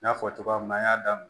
N y'a fɔ cogoya min na an y'a daminɛ